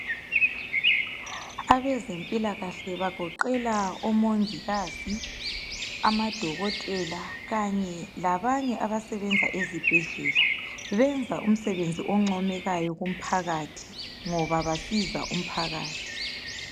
Abezempilakahle bagoqela omongikazi , amadokotela kanye labanye abasebenza ezibhedlela, benza umsebenzi oncomekayo kumphakathi ngoba basiza umphakathi.